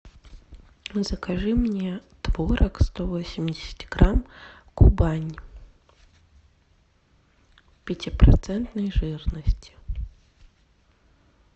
закажи мне творог сто восемьдесят грамм кубань пятипроцентной жирности